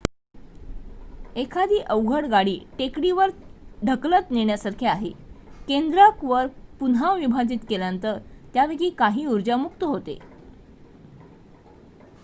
एखादी अवजड गाडी टेकडीवर ढकलत नेण्यासारखे आहे केंद्रक वर पुन्हा विभाजित केल्यानंतर त्यापैकी काही ऊर्जा मुक्त होते